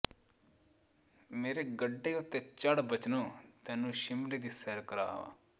ਮੇਰੇ ਗੱਡੇ ਉੱਤੇ ਚੜ ਬਚਨੋ ਤੈਨੂੰ ਸ਼ਿਮਲੇ ਦੀ ਸੈਰ ਕਰਾਵਾਂ